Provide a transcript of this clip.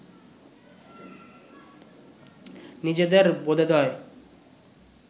নিজেদের বোধোদয়